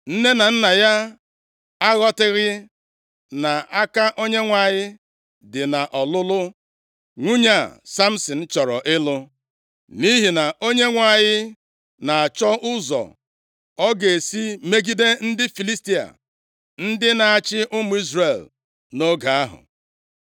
(Nne na nna ya aghọtaghị na aka Onyenwe anyị dị nʼọlụlụ nwunye a Samsin chọrọ ịlụ. Nʼihi na Onyenwe anyị na-achọ ụzọ ọ ga-esi megide ndị Filistia, ndị na-achị ụmụ Izrel nʼoge ahụ.)